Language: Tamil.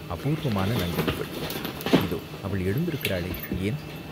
அபூர்வமான நங்கை இவள், இதோ அவள் எழுந்திருக்கிறாளே, ஏன்